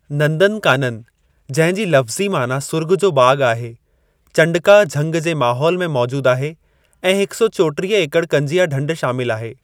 नंदनकानन जंहिं जी लफ़्ज़ी माना सुर्ॻ जो बाग़ आहे, चंडका झंग जे माहौल में मौजूद आहे ऐं 134 एकड़ कंजिया ढंढ शामिल आहे।